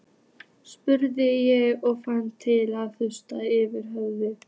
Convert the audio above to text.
spurði ég og fann til vaxandi þyngsla yfir höfðinu.